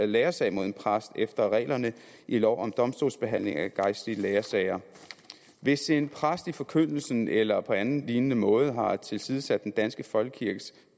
lærersag mod en præst efter reglerne i lov om domstolsbehandling af gejstlige lærersager hvis en præst i forkyndelsen eller på anden lignende måde har tilsidesat den danske folkekirkes